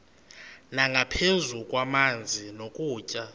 nangaphezu kwamanzi nokutya